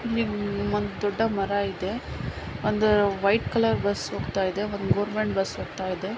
ಇಲ್ಲಿ ದೊಡ್ಡ ಮರ ಇದೆ ಒಂದು ವೈಟ್ ಕಲರ್ ಬಸ್ ಹೋಗತ್ತಾ ಇದೆ ಒಂದು ಗೊವೆರ್ಮೆಂಟ್ ಬಸ್ ಹೋಗತ್ತಾಯಿದೆ.